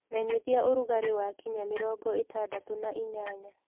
menyĩthĩa ũrũgarĩ wakinya mĩrongo ĩtandatũ na ĩnyanya